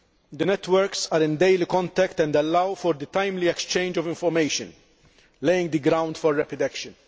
The networks are in daily contact and allow for the timely exchange of information, laying the ground for rapid action.